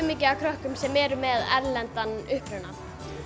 mikið af krökkum sem eru með erlendan uppruna